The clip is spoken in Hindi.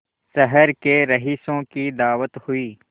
शहर के रईसों की दावत हुई